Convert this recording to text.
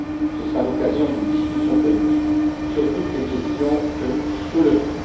Uni ce sera l'occasion d'une discussion politique sur toutes les questions soulevées.